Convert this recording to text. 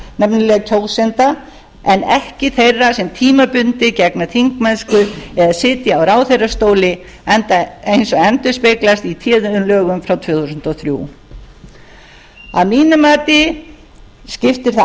nefnilega kjósenda en ekki þeirra sem tímabundið gegna þingmennsku eða sitja á ráðherrastóli eins og endurspeglast í téðum lögum frá tvö þúsund og þrjú að mínu mati skiptir það